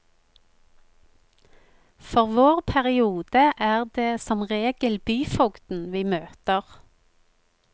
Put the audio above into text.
For vår periode er det som regel byfogden vi møter.